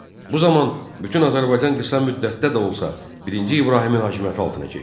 Bu zaman bütün Azərbaycan qısa müddətdə də olsa, birinci İbrahimin hakimiyyəti altına keçdi.